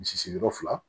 Misi sigiyɔrɔ fila